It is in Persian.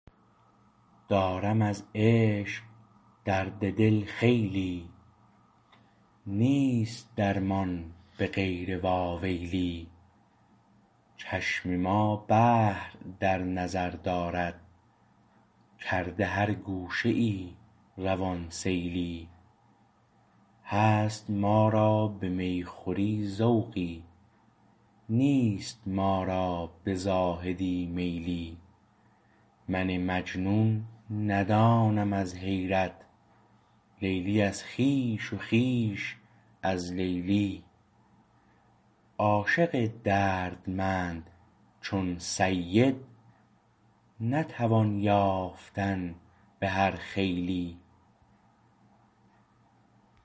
دارم از عشق درد دل خیلی نیست درمان به غیر واویلی چشم ما بحر در نظر دارد کرده هر گوشه ای روان سیلی هست ما را به میخوری ذوقی نیست ما را به زاهدی میلی من مجنون ندانم از حیرت لیلی از خویش و خویش از لیلی عاشق درمند چون سید نتوان یافتن به هر خیلی